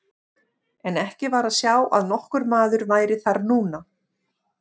En ekki var að sjá að nokkur maður væri þar núna.